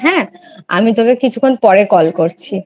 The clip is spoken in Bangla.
হ্যাঁ আমি তোকে কিছুক্ষন পরে call করছি।